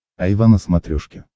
айва на смотрешке